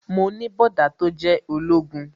Mo ní bọ̀dá tó jẹ́ ológun